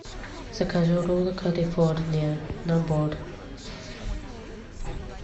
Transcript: закажи роллы калифорния набор